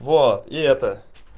вот и это